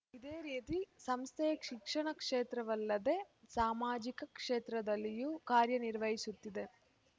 ಇದೇ ರೀತಿ ಸಂಸ್ಥೆಯು ಶಿಕ್ಷಣ ಕ್ಷೇತ್ರವಲ್ಲದೆ ಸಾಮಾಜಿಕ ಕ್ಷೇತ್ರದಲ್ಲಿಯೂ ಕಾರ್ಯನಿರ್ವಹಿಸುತ್ತಿದೆ